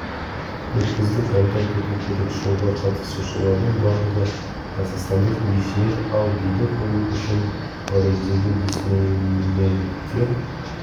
өткіздік айта кету керек шоуға қатысушылардың барлығы қазақстандық бишілер ал биді қою үшін париждегі диснейлендте